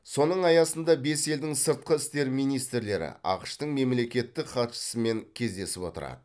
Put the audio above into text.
соның аясында бес елдің сыртқы істер министрлері ақш тың мемлекеттік хатшысымен кездесіп отырады